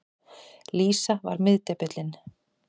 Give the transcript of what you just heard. Lísa var miðdepillinn.